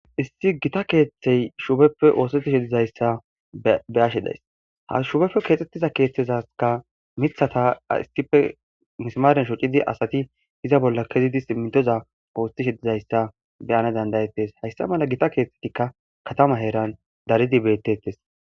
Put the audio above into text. issi gita keeththey shupeppe oosotishedizayssa be ashe days ha shupeppe keexxettiza keeththezaka mithataissife misamaren shoccidi asati iza bolla kezidismitoza oostishedizayssa beyana dandayettes hayssa mala gita keeththetikka katama heeran daridi bettettes